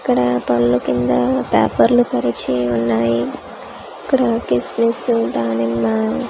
ఇక్కడ పళ్ళు కింద పేపర్లు పరిచి ఉన్నాయి ఇక్కడ కిస్మిస్ దానిమ్మ .